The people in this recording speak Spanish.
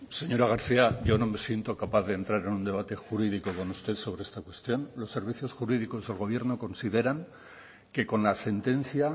señora garcía yo no me siento capaz de entrar en un debate jurídico con usted sobre esta cuestión los servicios jurídicos del gobierno se consideran que con la sentencia